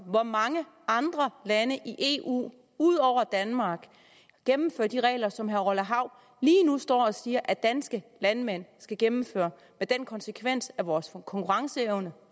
hvor mange andre lande i eu ud over danmark gennemfører de regler som herre orla hav lige nu står og siger at danske landmænd skal gennemføre med den konsekvens at vores konkurrenceevne